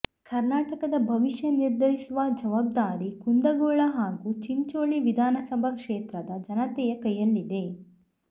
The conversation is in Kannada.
ಕರ್ನಾಟಕದ ಭವಿಷ್ಯ ನಿರ್ಧರಿಸುವ ಜವಾಬ್ದಾರಿ ಕುಂದಗೋಳ ಹಾಗೂ ಚಿಂಚೋಳಿ ವಿಧಾನಸಭಾ ಕ್ಷೇತ್ರದ ಜನತೆಯ ಕೈಯಲ್ಲಿದೆ